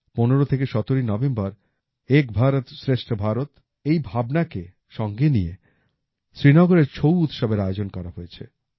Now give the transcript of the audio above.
১৫ থেকে ১৭ই নভেম্বর এক ভারত শ্রেষ্ঠ ভারত এই ভাবনাকে সঙ্গে নিয়ে শ্রীনগরে ছৌ উৎসবের আয়োজন করা হয়েছে